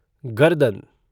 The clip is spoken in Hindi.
गर्दन